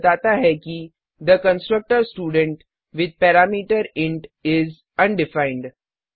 यह बताता है कि the constructor student with parameter is undefined